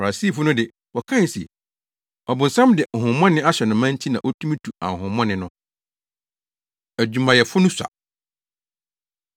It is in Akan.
Farisifo no de, wɔkae se, “Ɔbonsam de honhommɔne ahyɛ no ma nti na otumi tu ahonhommɔne no.” Adwumayɛfo No Sua